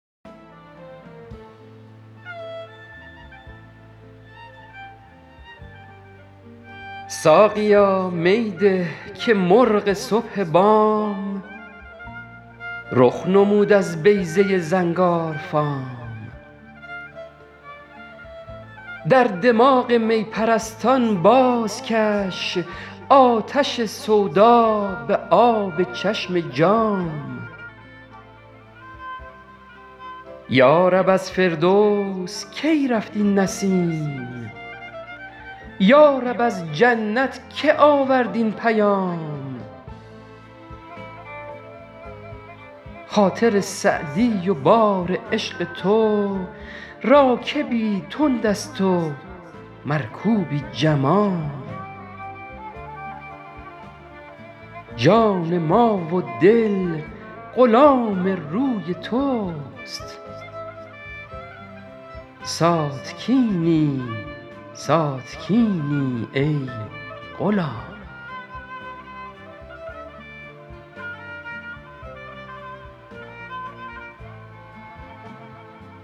ساقیا می ده که مرغ صبح بام رخ نمود از بیضه زنگارفام در دماغ می پرستان بازکش آتش سودا به آب چشم جام یا رب از فردوس کی رفت این نسیم یا رب از جنت که آورد این پیام خاطر سعدی و بار عشق تو راکبی تند است و مرکوبی جمام جان ما و دل غلام روی توست ساتکینی ساتکینی ای غلام